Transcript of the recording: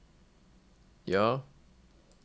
ja